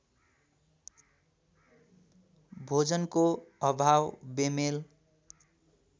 भोजनको अभाव बेमेल